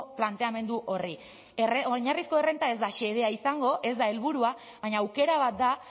planteamendu horri oinarrizko errenta ez da xedea izango ez da helburua baina aukera bat da